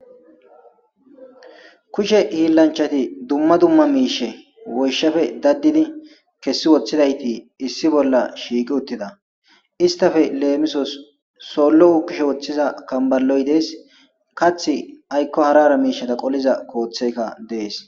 Kushe hiillanchati dumma dumma miishe woyshafe daddini kessi woththidayti issi bolla shiiqi uttida istafe leemisos sollo hukushe woththiza kamballoy dees kath aykko harara miishata qoliza kooththeykka dees